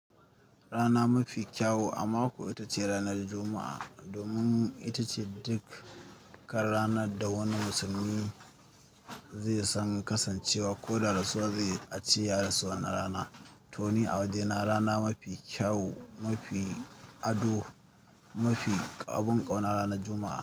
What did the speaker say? Rana mafi kyau a mako ita ce ranar Juma'a domin ita ce duk ƙar ranar da wani musulmi zai san kasancewa ko da rasuwa zai a ce ya rasu wannan rana. Toh ni a wajena rana mafi kyau, mafi ado, mafi ƙaɓun ƙauna ranar Juma'a.